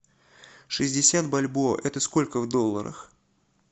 шестьдесят бальбоа это сколько в долларах